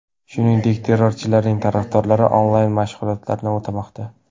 Shuningdek, terrorchilarning tarafdorlari onlayn-mashg‘ulotlarni o‘tamoqda.